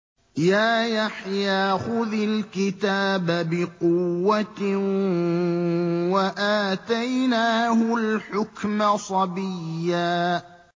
يَا يَحْيَىٰ خُذِ الْكِتَابَ بِقُوَّةٍ ۖ وَآتَيْنَاهُ الْحُكْمَ صَبِيًّا